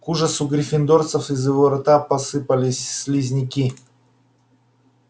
к ужасу гриффиндорцев из его рта посыпались слизняки